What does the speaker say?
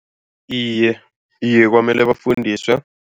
Iye, iye kwamele bafundiswe.